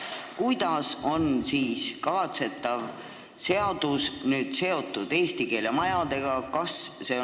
Kuidas on kavatsetav seadus seotud eesti keele majadega?